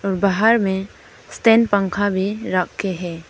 और बाहर में स्टैंड पंखा भी रखे है।